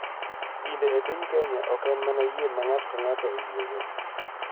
Dinde e piny Kenya ok en mana yie ma ng�ato ka ng�ato oyiego .